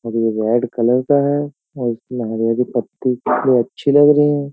और ये red colour का है और इसमें हरिया की पत्नी अच्छी लग रही है।